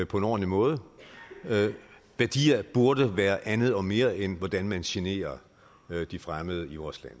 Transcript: på en ordentlig måde værdier burde være andet og mere end hvordan man generer de fremmede i vores land